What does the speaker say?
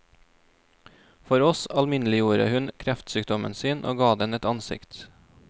For oss alminneliggjorde hun kreftsykdommen sin og ga den et ansikt.